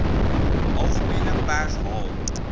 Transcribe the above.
algemene pers haal